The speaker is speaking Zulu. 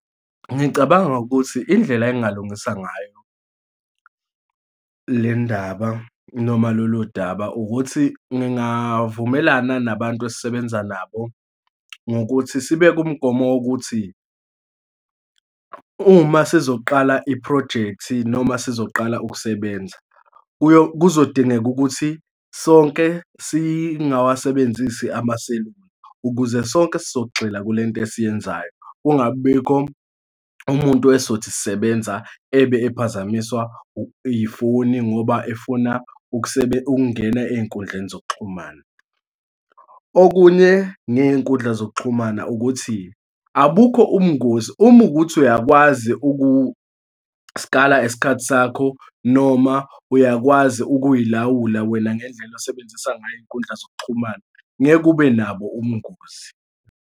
Ngicabanga ukuthi indlela engingalungisa ngayo lendaba noma loludaba, ukuthi ngingavumelana nabantu esisebenza nabo ngokuthi sibeke umgomo wokuthi, uma sizoqala iphrojekthi noma sizoqala ukusebenza, kuzodingeka ukuthi sonke singawasebenzisi amaselula ukuze sonke sizogxila kulento esiyenzayo, kungabibikho umuntu esizothisisebenza ebe ephazamiswa ifoni ngoba efuna ukungena ey'nkundleni zokuxhumana. Okunye ngey'nkundla zokuxhumana ukuthi, abukho ubungozi uma ukuthi uyakwazi ukusikala isikhathi sakho noma uyakwazi ukuyilawula wena ngendlela osebenzisa ngayo iy'nkundla zokuxhumana, ngeke ube nabo ubungozi.